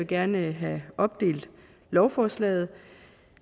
gerne vil have opdelt lovforslaget